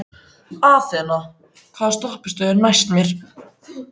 Athena, hvaða stoppistöð er næst mér?